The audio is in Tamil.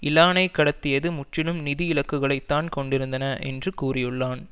இலானைக் கடத்தியது முற்றிலும் நிதி இலக்குகளைத்தான் கொண்டிருந்தன என்றும் கூறியுள்ளான்